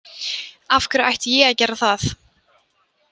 Af hverju ætti ég að gera það?